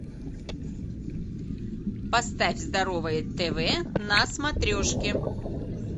поставь здоровое тв на смотрешке